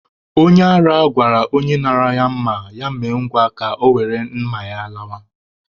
Onye ara gwara onye nara ya mma, ya mee ngwa ka ya were mma ya lawa.